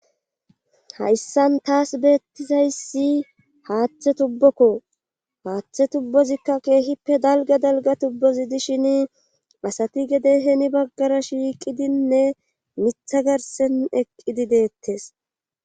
Hayssan taas beettizayssi haaththe tubbokko haaththe tubbozikka keehippe dalgga dalgga tubbozi dishin asati gede heeni baggara shiiqidinne miththa garsen eqqidi deettes